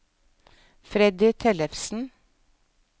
Freddy Tellefsen